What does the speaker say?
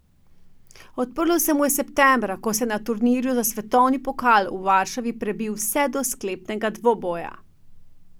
Odprlo se mu je septembra, ko se je na turnirju za svetovni pokal v Varšavi prebil vse do sklepnega dvoboja.